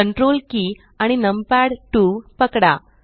ctrl key आणि numpad 2 पकडा